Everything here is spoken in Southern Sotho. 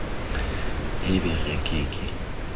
e be re ke ke